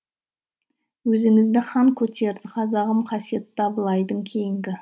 өзіңізді хан көтерді қазағым қасиетті абылайдың кейінгі